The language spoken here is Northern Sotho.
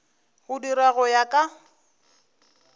go dirwa go ya ka